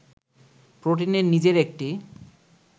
প্রোটিনের নিজের একটি